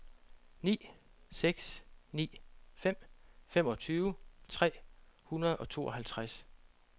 ni seks ni fem femogtyve tre hundrede og tooghalvtreds